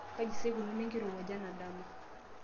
kaji sa eikununo enkirowuaj enadama